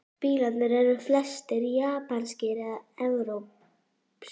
Bílarnir eru flestir japanskir eða evrópsk